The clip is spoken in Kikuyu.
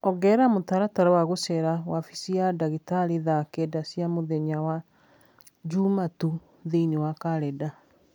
ongerera mũtaratara wa gũceera wabici ya ndagĩtarĩ thaa kenda cia mũthenya wa Jumatũ thĩinĩ wa kalendarĩ